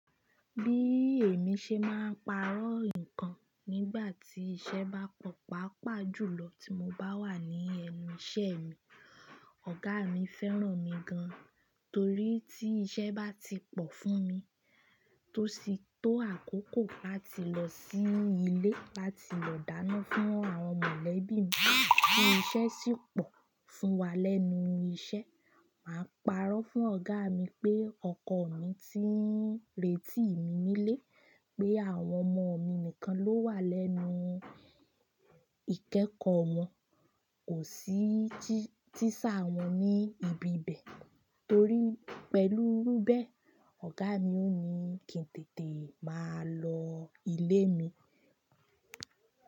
Bí èmi ṣe máa ń parọ́ nǹkan nígbà tí iṣẹ́ bá pọ̀ pápa jù lọ tí mo bá wà ní ẹnu iṣẹ́ mi. Ọ̀gá mi fẹ́ràn mi gan, torí tí iṣẹ́ bá ti pọ̀ fún mi, tó ti tó àkókò láti lọ sí ilé láti lọ dáná fún àwọn mọ̀lẹ́bí mi, tí iṣẹ́ sì pọ̀ fún wa lẹ́nu iṣẹ́, màá parọ́ fún ọ̀gá mi pé ọkọ mi ti ń retí mi nílé, pé àwọn ọmọ mi nìkan ló wà lẹ́nu ìkẹẹkọ wọn, kò sí tíṣà wọn ní ibi bẹ̀ tórí pẹ̀lú irú bẹ́, ọ̀gá mi ò ní kí n tètè máa lọ ilé mi.